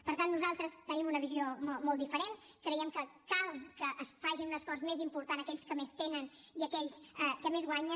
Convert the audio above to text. per tant nosaltres tenim una visió molt diferent creiem que cal que facin un esforç més important aquells que més tenen i aquells que més guanyen